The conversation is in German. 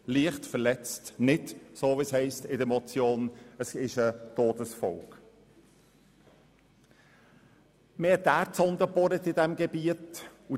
Entgegen der Aussage in der Motion handelt es sich nicht um eine Verletzung mit Todesfolge, sondern um eine leichte Verletzung.